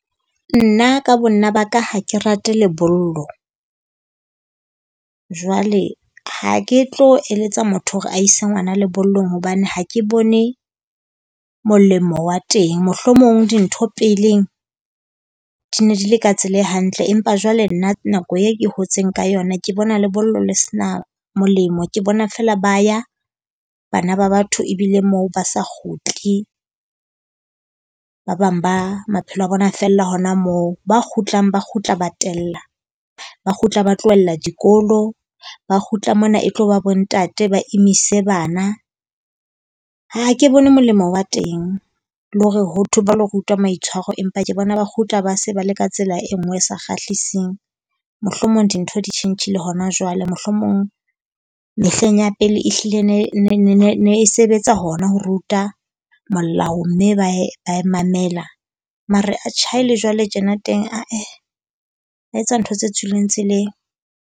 Nna ka bo nna ba ka ha ke rate lebollo. Jwale ha ke tlo eletsa motho hore a ise ngwana lebollong hobane ha ke bone molemo wa teng. Mohlomong dintho peleng di ne di le ka tsela e hantle empa jwale nna nako e ke hotseng ka yona ke bona lebollo le sena molemo. Ke bona feela ba ya bana ba batho ebile moo ba sa kgutle. Ba bang ba maphelo a bona fella hona moo. Ba kgutlang ba kgutla ba tella, ba kgutla ba tlohella dikolo. Ba kgutla mona e tlo ba bo ntate ba imise bana. Ha ke bone molemo wa teng le hore ho thwe ba lo rutwa maitshwaro empa ke bona ba kgutla ba se ba le ka tsela e nngwe e sa kgahliseng. Mohlomong dintho di tjhentjhile hona jwale. Mohlomong mehleng ya pele ehlile ne e sebetsa hona ho ruta molao mme ba e ba e mamela mare atjhe ha e le jwale tjena teng ah-eh, ba etsa ntho tse tswileng tseleng.